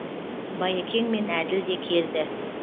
байекең мен әділ де келді